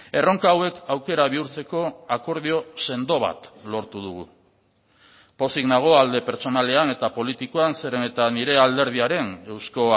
erronka hauek aukera bihurtzeko akordio sendo bat lortu dugu pozik nago alde pertsonalean eta politikoan zeren eta nire alderdiaren euzko